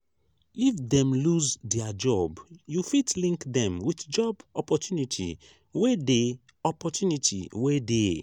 if dem losse their job you fit link them with job opportunity wey dey opportunity wey dey